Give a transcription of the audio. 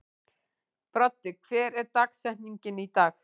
Broddi, hver er dagsetningin í dag?